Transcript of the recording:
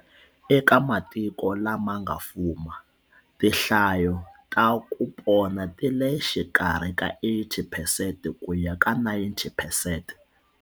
Eka matiko lama nga fuma, tinhlayo ta ku pona ti le xikarhi ka 80 phesente ku ya ka 90 phesente.